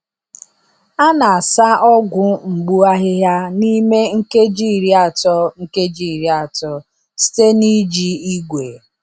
A na-asa ọgwụ mgbu ahịhịa n’ime nkeji iri atọ nkeji iri atọ site n’iji igwe.